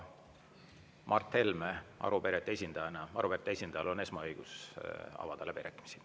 Mart Helmel arupärijate esindajana on siis õigus avada läbirääkimised.